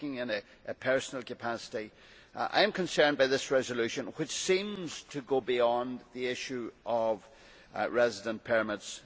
Speaking in a personal capacity, I am concerned by this resolution, which seems to go beyond the issue of residence permits.